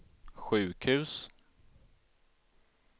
sjukhus